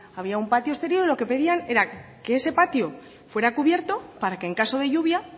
había un patio exterior y lo que pedían era que ese patio fuera cubierto para que en caso de lluvia